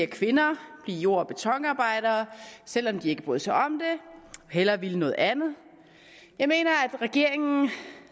kvinder blive jord og betonarbejdere selv om de ikke bryder sig om det og hellere vil noget andet jeg mener at regeringen